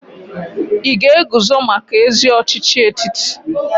Ị ga-eguzo maka ezi ọchịchị etiti?